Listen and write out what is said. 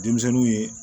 Denmisɛnninw ye